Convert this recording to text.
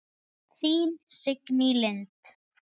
Þín Signý Lind.